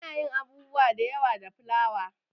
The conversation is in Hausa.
Ana yin abubuwa da yawa da fulawa.